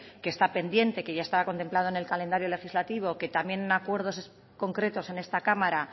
que está pendiente que ya estaba contemplado en el calendario legislativo que también acuerdos concretos en esta cámara